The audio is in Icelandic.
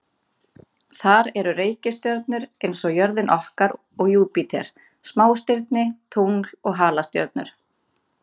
Þar eru reikistjörnur eins og jörðin okkar og Júpíter, smástirni, tungl og halastjörnur.